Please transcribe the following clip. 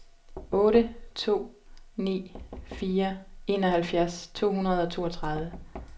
otte to ni fire enoghalvfjerds to hundrede og toogtredive